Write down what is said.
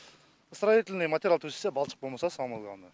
строительный материал төсесе балшық болмаса самый главный